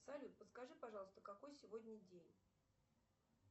салют подскажи пожалуйста какой сегодня день